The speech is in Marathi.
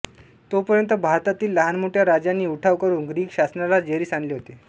तोपर्यंत भारतातील लहानमोठ्या राज्यांनी उठाव करून ग्रीक शासनाला जेरीस आणले होते